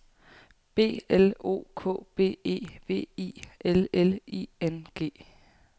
B L O K B E V I L L I N G